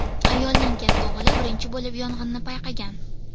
Ayolning katta o‘g‘li birinchi bo‘lib yong‘inni payqagan.